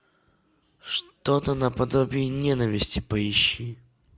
что то наподобие ненависти поищи